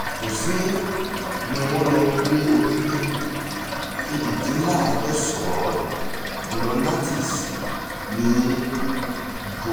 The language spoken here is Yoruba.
tòsìn ni wọ́n lọ ń gbé ojúlé kejìdínláàádọ́sàn-án ọ̀nà nantes ní ìjọkọ̀